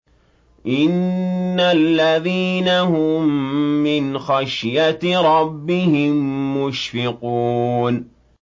إِنَّ الَّذِينَ هُم مِّنْ خَشْيَةِ رَبِّهِم مُّشْفِقُونَ